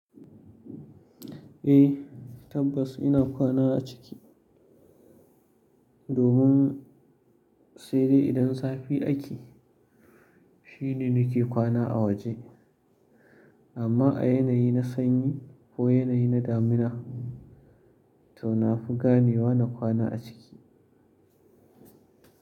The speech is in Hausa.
Eh tabbas ina kwana a ciki. Domin sai dai idan zafi ake shine nake kwana a waje. Amma a yanayi na sanyi ko yanayi na damina to na fi ganewa na kwana a ciki.